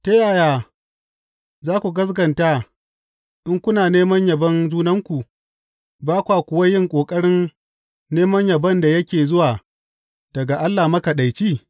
Ta yaya za ku gaskata in kuna neman yabon junanku, ba kwa kuwa yin ƙoƙarin neman yabon da yake zuwa daga Allah Makaɗaici?